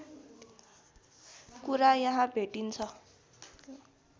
कुरा यहाँ भेटिन्छ